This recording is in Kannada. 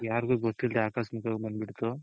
ಯಾರ್ಗು ಗೊತಿಲ್ದೆ ಆಕಸ್ಮಿಕವಾಗ್ ಬಂದ್ ಬಿಡ್ತು.